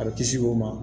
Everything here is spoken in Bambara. A bɛ kisi o ma